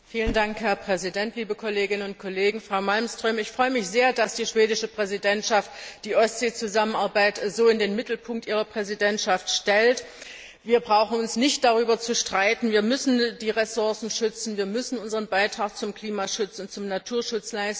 Herr Präsident, Frau Malmström, liebe Kolleginnen und Kollegen! Ich freue mich sehr, dass die schwedische Präsidentschaft die Ostsee Zusammenarbeit so in den Mittelpunkt ihrer Präsidentschaft stellt. Wir brauchen uns nicht darüber zu streiten Wir müssen die Ressourcen schützen, und wir müssen unseren Beitrag zum Klimaschutz und zum Naturschutz leisten.